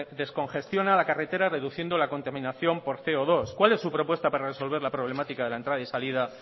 descongestiona la carretera reduciendo la contaminación por ce o dos cuál es su propuesta para resolver su problemática de la entrada y salida